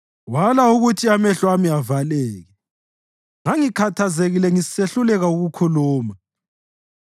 Wala ukuthi amehlo ami avaleke; ngangikhathazekile ngisehluleka ukukhuluma.